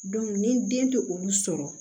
ni den tɛ olu sɔrɔ